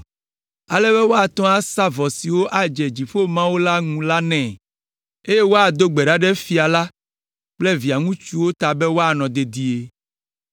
Ale be woate ŋu asa vɔ siwo adze dziƒo Mawu la ŋu la nɛ, eye woado gbe ɖa ɖe fia la kple via ŋutsuwo ta be woanɔ dedie.